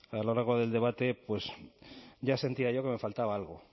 a lo largo del debate pues ya sentía yo que me faltaba algo